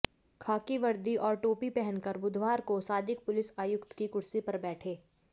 खाकी वर्दी और टोपी पहनकर बुधवार को सादिक पुलिस आयुक्त की कुर्सी पर बैठा